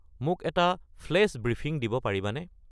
মোক এটা flash briefing দিব পাৰিবানে